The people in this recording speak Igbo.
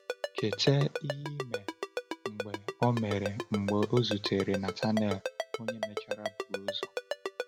Cheta ihe mere mgbe o mere mgbe o zutere Natanael, onye mechara bụrụ ọzọ.